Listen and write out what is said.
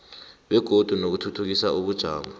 begodu nokuthuthukisa ubujamo